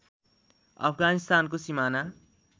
अफगानिस्तानको सिमाना